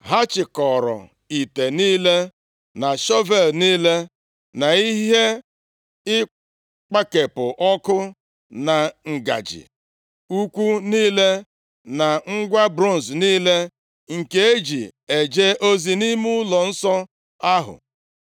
Ha chịkọọrọ ite niile, na shọvel niile, na ihe ịkpakepụ ọkụ, na ngaji ukwu niile na ngwa bronz niile nke e ji eje ozi nʼime ụlọnsọ ahụ.